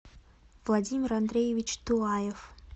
владимир андреевич тулаев